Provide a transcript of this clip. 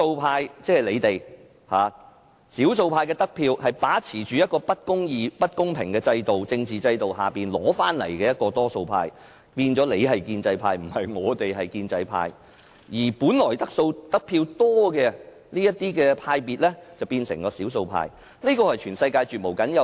他們是因為把持着不公義、不公平的政治制度，所以才能奪得較多議席而成為多數派，變成議會內的建制派，而本來得票較多的黨派則變成少數派，這是全世界絕無僅有的。